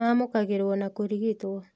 Maamũkagĩrwo na kũrigitwo